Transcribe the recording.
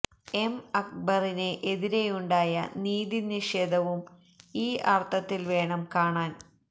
M അക്ബറിന് എതിരെയുണ്ടായ നീതി നിഷേധവും ഈ അര്ത്ഥത്തില് വേണം കാണാന്